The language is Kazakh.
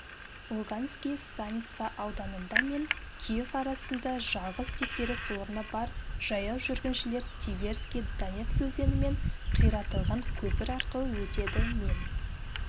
луганский станица ауданында мен киев арасында жалғыз тексеріс орны бар жаяу жүргіншілер северский донец өзені мен қиратылған көпір арқылы өтеді мен